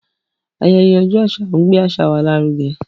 Ayẹyẹ ọjọ́ àṣà ń gbé àṣà wa lárugẹ.